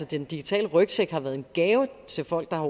den digitale rygsæk har været en gave til folk der